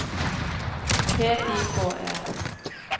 P I K E N